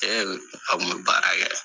A kun bɛ baara kɛ.